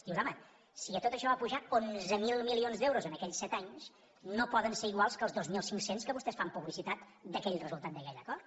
dius home si tot això ha pujat onze mil mi lions d’euros en aquells set anys no poden ser iguals que els dos mil cinc cents de què vostès fan publicitat d’aquell resultat d’aquell acord